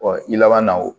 i laban na o